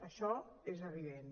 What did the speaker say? això és evident